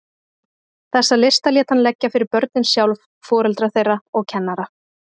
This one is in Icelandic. Þessa lista lét hann leggja fyrir börnin sjálf, foreldra þeirra og kennara.